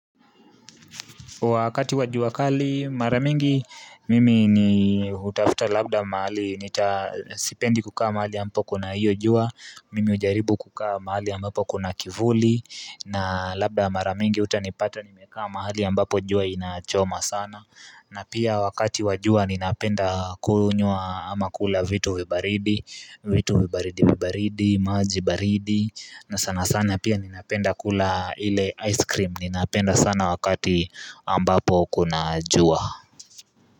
Wakati wa jua kali, mara mingi mimi ni hutafuta labda mahali, nita sipendi kukaa mahali ambapo kuna hiyo jua, mimi hujaribu kukaa mahali ambapo kuna kivuli, na labda mara mingi utanipata nimekaa mahali ambapo jua inachoma sana. Na pia wakati wa jua ninapenda kunywa ama kula vitu vibaridi vitu vibaridi vibaridi, maji baridi na sana sana pia ninapenda kula ile ice cream Ninapenda sana wakati ambapo kuna jua.